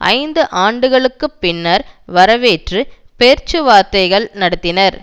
ஐந்து ஆண்டுகளுக்கு பின்னர் வரவேற்று பேச்சுவார்த்தைகள் நடத்தினர்